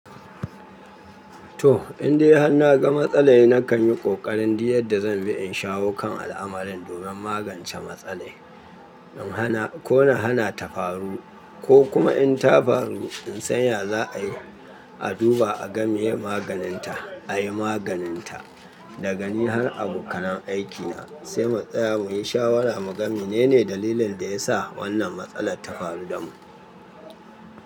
To, indai han na ga matsala ne na kan yi ƙoƙarin duk yadda zan bi in shawo kan al'amarin domin magance matsala in hana ko na hana ta faru ko kuma in ta faru in san yaza a yi, a duba aga miye maganinta, a yi maganinta daga ni har a bukunan aikina sai mutsaya muyi shawara muga menene dalilin da ya sa wannan matsalar ta faru da mu.